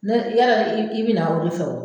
Ne yala i bɛ i bɛ na o de fɛ o